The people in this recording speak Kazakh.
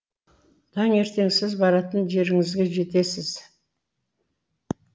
таңертең сіз баратын жеріңізге жетесіз